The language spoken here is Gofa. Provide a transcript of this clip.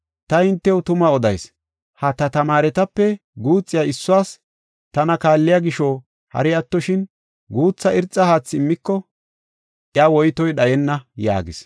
Ta hintew tuma odayis; ha ta tamaaretape guuxiya issuwas tana kaalliya gisho hari attoshin guutha irxa haathi immiko iya woytoy dhayenna” yaagis.